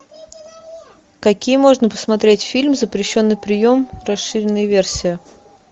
какие можно посмотреть фильм запрещенный прием расширенная версия